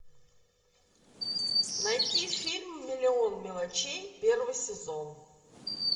найти фильм миллион мелочей первый сезон